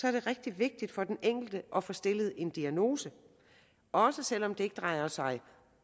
er det rigtig vigtigt for den enkelte at få stillet en diagnose også selv om det ikke drejer sig